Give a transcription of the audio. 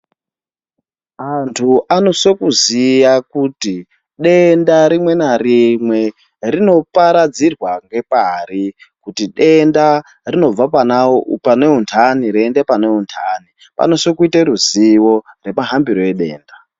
Antu amosiso kuziva kuti denda rimwe narimwe rinoparadzirwa ngepar kuti denda rinobva pane umudani richienda pane umundani panofanirwa kuva neruzivo remahambiro edenda.